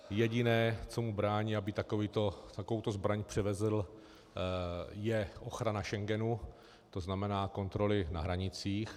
Jediné, co mu brání, aby takovouto zbraň převezl, je ochrana Schengenu, to znamená kontroly na hranicích.